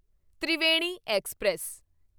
Triveni express